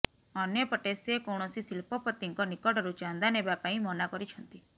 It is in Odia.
ଅନ୍ୟପଟେ ସେ କୌଣସି ଶିଳ୍ପପତିଙ୍କ ନିକଟରୁ ଚାନ୍ଦା ନେବା ପାଇଁ ମନା କରିଛନ୍ତି